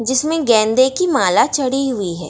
जिसमे गेंदे की माला चडी हुई है।